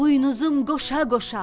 Buynuzum qoşa-qoşa.